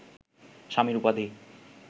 স্বামীর উপাধি